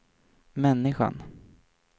människan